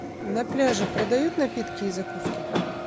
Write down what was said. на пляже продают напитки и закуски